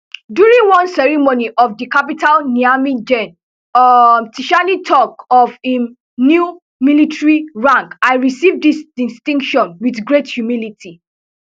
during one ceremony for di capital niamey gen um tchiani tok of im new military rank i receive dis distinction wit great humility